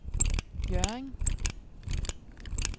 Hjørring